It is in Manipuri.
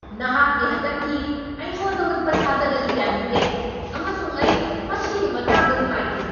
ꯅꯍꯥꯛꯀꯤ ꯍꯟꯗꯛꯀꯤ ꯑꯩꯉꯣꯟꯗ ꯎꯠꯄ ꯁꯥꯖꯠ ꯑꯗꯨ ꯌꯥꯅꯤꯡꯗꯦ ꯑꯃꯁꯨꯡ ꯑꯩ ꯃꯁꯤꯒꯤ ꯃꯇꯥꯡꯗ ꯅꯨꯡꯉꯥꯏꯇꯦ꯫